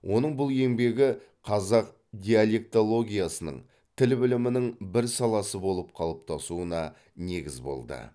оның бұл еңбегі қазақ диалектологиясының тіл білімінің бір саласы болып қалыптасуына негіз болды